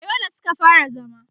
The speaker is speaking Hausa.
a Yola Suka fara zama